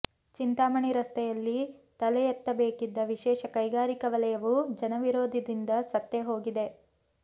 ಚಿಂತಾಮಣಿ ರಸ್ತೆಯಲ್ಲಿ ತಲೆಯೆತ್ತಬೇಕಿದ್ದ ವಿಶೇಷ ಕೈಗಾರಿಕಾ ವಲಯವೂ ಜನ ವಿರೋಧದಿಂದ ಸತ್ತೇ ಹೋಗಿದೆ